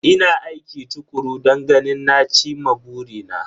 Ina aiki tukuru don ganin na cin ma burina.